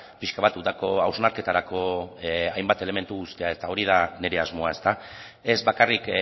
pixka bat udako hausnarketarako hainbat elementu uztea eta hori da nire asmoa ez bakarrik